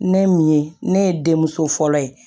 Ne min ye ne ye denmuso fɔlɔ ye